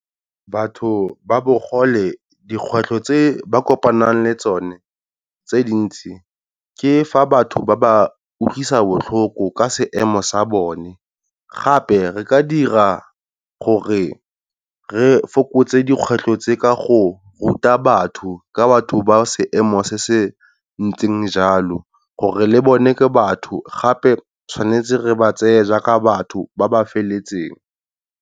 Batho ba bo gole dikgwetlho tse ba kopanang le tsone tse dintsi, ke fa batho ba ba utlwisa botlhoko ka seemo sa bone. Gape re ka dira gore re fokotse dikgwetlho tse ka go ruta batho ka batho ba seemo se se ntseng jalo, gore le bone ke batho gape tshwanetse re ba tseye jaaka batho ba ba feletseng.